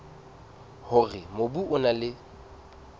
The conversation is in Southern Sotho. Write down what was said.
hore mobu o na le